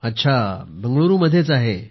अच्छा बंगळुरूमध्येच आहे